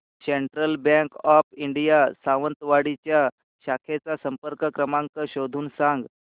central bank of India Sawantwadi च्या शाखेचा संपर्क क्रमांक शोधून सांग